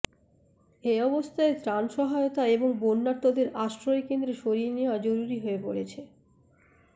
এ অবস্থায় ত্রাণ সহায়তা এবং বন্যার্তদের আশ্রয় কেন্দ্রে সরিয়ে নেয়া জরুরি হয়ে পড়েছে